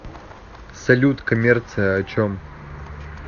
салют коммерция о чем